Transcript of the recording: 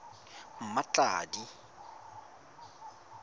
mmatladi